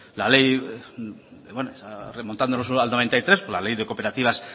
remontándonos a mil novecientos noventa y tres la ley de cooperativas